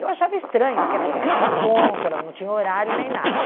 Eu achava estranho, porque ela não assinava ponto, ela não tinha horário, nem nada.